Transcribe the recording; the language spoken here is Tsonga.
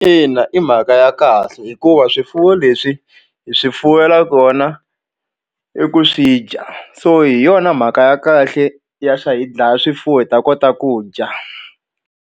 Ina i mhaka ya kahle hikuva swifuwo leswi hi swi fuwela kona i ku swi dya so hi yona mhaka ya kahle ya hi dlaya swifuwo hi ta kota ku dya.